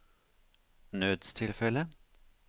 nødstilfelle